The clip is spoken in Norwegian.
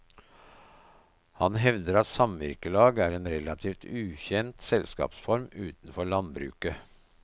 Han hevder at samvirkelag er en relativt ukjent selskapsform utenfor landbruket.